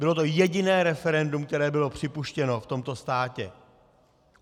Bylo to jediné referendum, které bylo připuštěno v tomto státě.